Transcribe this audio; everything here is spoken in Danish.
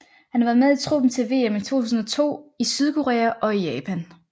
Han var med i truppen til VM i 2002 i Sydkorea og Japan